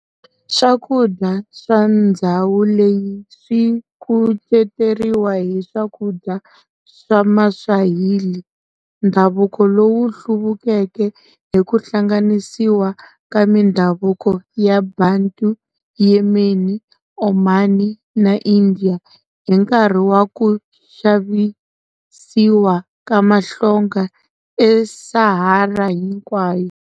Swakudya swa ndzhawu leyi swikuceteriwa hi swakudya swa ma Swahili ndhavuko lowu hluvukeke hiku hlanganisiwa ka mindhavuko ya Bantu, Yemeni, Omani na Indian, hi nkarhi wa ku xavisiwa ka mahlonga e Sahara hinkwayo.